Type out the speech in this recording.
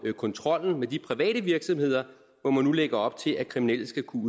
kontrollen med de private virksomheder hvor man nu lægger op til at kriminelle skal kunne